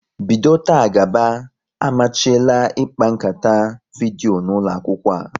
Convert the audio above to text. Bido taa gaba, amachiela ịkpa nkata vidyo n'ụlọ akwụkwọ a!